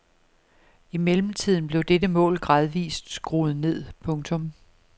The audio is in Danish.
I mellemtiden blev dette mål gradvist skruet ned. punktum